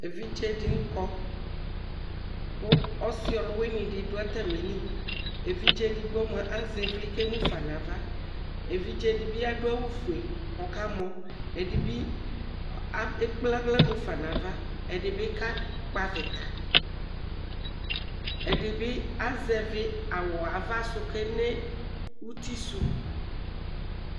evidze dini kɔkʋ ɔsi ɔluwini di dʋ atamilievidze edigbo mua azɛ ivli ,kʋ emu fa nʋ ava evidze dibi adʋ awu fue kʋ ɔkamɔ ɛdibi ekpe aɣla mufa nʋ avaɛdibi kakpɔ avitaɛdibi azɛvi awu ava si, kʋ ene uti suɛ